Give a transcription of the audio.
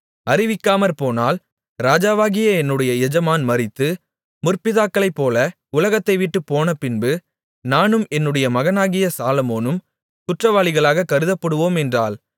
அறிவிக்காமற்போனால் ராஜாவாகிய என்னுடைய எஜமான் மரித்து முற்பிதாக்ககளைப் போல உலகத்தை விட்டு போனப் பின்பு நானும் என்னுடைய மகனாகிய சாலொமோனும் குற்றவாளிகளாகக் கருதப்படுவோம் என்றாள்